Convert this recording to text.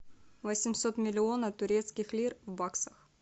восемьсот миллионов турецких лир в баксах